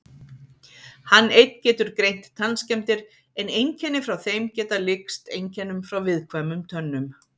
Hann einn getur greint tannskemmdir en einkenni frá þeim geta líkst einkennum frá viðkvæmum tönnum.